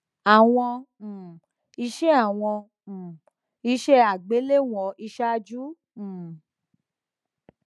awon um ise awon um ise igbelewon isaaju um